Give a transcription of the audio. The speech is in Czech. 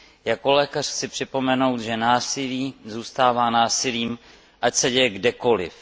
Jako lékař chci připomenout, že násilí zůstává násilím, ať se děje kdekoliv.